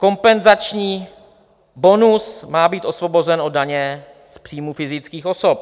Kompenzační bonus má být osvobozen od daně z příjmu fyzických osob.